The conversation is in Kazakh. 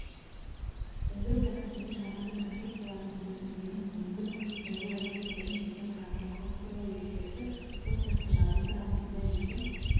сөндіру процесінде жабынды конструкцияларының төзімділігін мүмкін бұзылу әрекеттерін жеке құрамды қауіп туралы ескертіп сол сияқты жабынды астында жеке